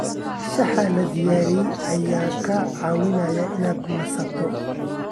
Shaaha la diyaariyey ayaa kaa caawinaya inaad nasato.